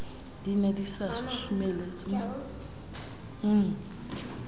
di ne di sa susumeletswa